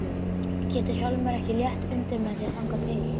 Getur Hjálmar ekki létt undir með þér þangað til?